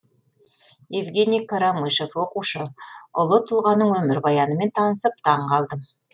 евгений карамышев оқушы ұлы тұлғаның өмірбаянымен танысып таңғалдым